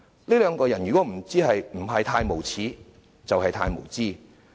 這兩個人如果不是太無耻，就是太無知。